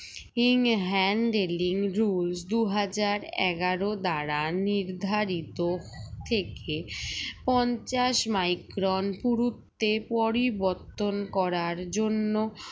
in handling rule দুই হাজার এগারো দ্বারা নির্ধারিত থেকে পঞ্চাশ micron পুরুত্বে পরিবর্তন করার জন্য